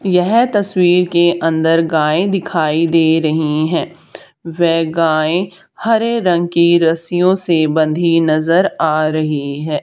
यह तस्वीर के अंदर गाय दिखाई दे रही हैं वे गाय हरे रंग की रस्सियों से बंधी नजर आ रही है।